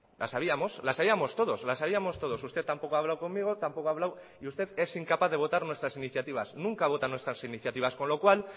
la sabíamos la sabíamos todos usted tampoco ha hablado conmigo tampoco ha hablado y usted es incapaz de votar nuestras iniciativas nunca vota nuestras iniciativas con lo cual